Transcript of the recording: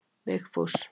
Vigfús